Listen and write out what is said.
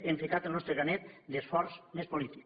hem ficat el nostre granet d’esforç més polític